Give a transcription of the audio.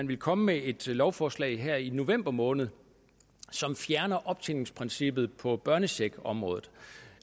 ville komme med et lovforslag her i november måned som fjerner optjeningsprincippet på børnecheckområdet